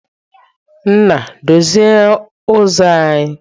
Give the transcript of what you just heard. Nna, dozie uzo anyi!